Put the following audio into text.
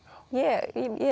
ég